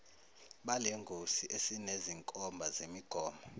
balengosi esinezinkomba zemigomo